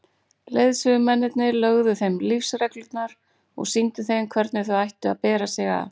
Leiðsögumennirnir lögðu þeim lífsreglurnar og sýndu þeim hvernig þau ættu að bera sig að.